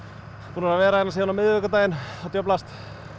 búnir að vera hérna síðan á miðvikudaginn að djöflast